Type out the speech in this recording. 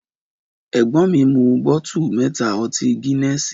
Ẹgbon mi, mú bótù mẹ́tà ọti gínẹsì.